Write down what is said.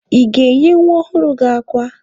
Ị ga-enye nwa ọhụrụ gị akwa?